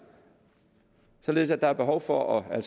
således at der altså er behov for at